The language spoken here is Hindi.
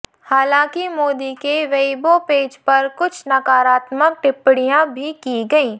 हालांकि मोदी के वेइबो पेज पर कुछ नकारात्मक टिप्पणियां भी की गई